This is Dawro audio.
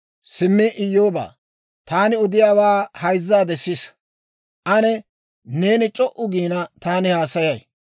«Simmi Iyyoobaa, taani odiyaawaa hayzzaadde sisa. Ane neeni c'o"u giina, taani haasayay.